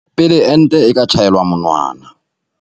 pele ente e ka tjhaelwa monwana.